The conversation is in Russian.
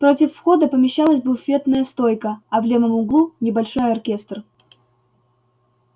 против входа помещалась буфетная стойка а в левом углу небольшой оркестр